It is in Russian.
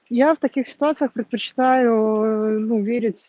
я в таких ситуациях предпочитаю ну верить